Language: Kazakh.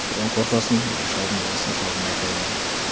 содан қорқасын үйде шалдың даусынан шалдың айқайынан